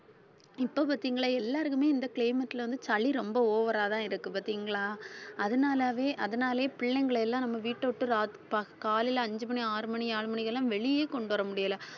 இப்ப பாத்தீங்களா எல்லாருக்குமே இந்த climate ல வந்து சளி ரொம்ப over ஆதான் இருக்கு பார்த்தீங்களா அதனாலவே அதனாலயே பிள்ளைங்களை எல்லாம் நம்ம வீட்டை விட்டு ராத்~ ப~ காலையில அஞ்சு மணி ஆறு மணி ஆறு மணிக்கெல்லாம் வெளியே கொண்டு வர முடியல